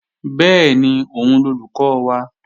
Bẹ́ẹ̀ni, òun lolùkọ́ wa